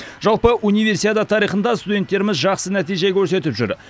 жалпы универсиада тарихында студенттеріміз жақсы нәтиже көрсетіп жүр